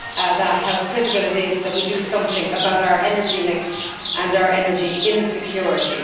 that, how critical it is that we do something about our energy mix and our energy insecurity.